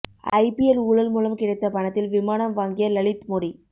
IPL ஊழல் மூலம் கிடைத்த பணத்தில் விமானம் வாங்கிய லலித் மோடி